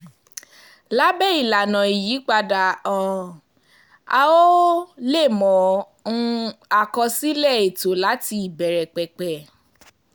lábé ìlànà ìyípadà um a ó um lè mọ um àkọsílẹ̀ ètò láti ìbẹ̀rẹ̀ pẹ̀pẹ̀